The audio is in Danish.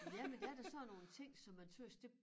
Jamen det er da sådan nogle ting som jeg tøs det